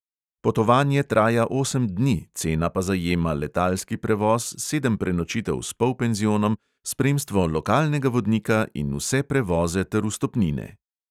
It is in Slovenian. Potovanje traja osem dni, cena pa zajema letalski prevoz, sedem prenočitev s polpenzionom, spremstvo lokalnega vodnika in vse prevoze ter vstopnine.